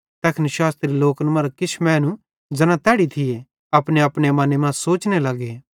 तैखन शास्त्री लोकन मरां किछ मैनू ज़ैना तैड़ी थिये अपनेअपने मने मां सोचने लग्गे कि